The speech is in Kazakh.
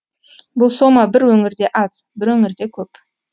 бұл сома бір өңірде аз бір өңірде көп